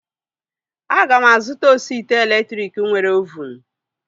Aga m azụta osi ite elektriki nwere ovunu